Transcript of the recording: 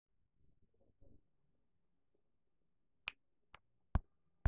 tasioki tuunisho terishata eunore nintau nena kujit aashu benek nemeyieuni amu eidim aayau ina kukuu